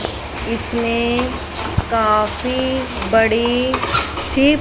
इसमें काफी बड़ी सी--